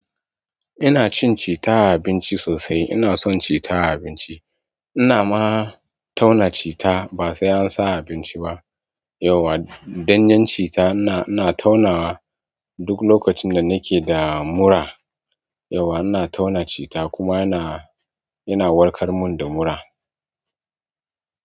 Ina cin citta abinci sosai ina so citta a abinci. Ina ma tauna cita ba sai an sa a abinci ba. Yauwa ɗan yan cita ina, ina taunawa duk lokacin da nake da mura. Yauwa ina tauna cita kuma yana, yana warkar mun da mura.